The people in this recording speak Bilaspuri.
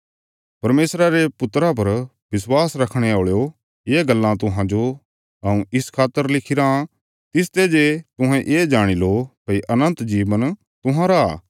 परमेशरा रे पुत्रा पर विश्वास रखणे औल़यो ये गल्लां तुहांजो हऊँ इस खातर लिखिराँ तिसते जे तुहें ये जाणी लो भई अनन्त जीवन तुहांरा